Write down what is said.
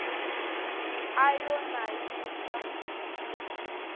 a yo na yi xa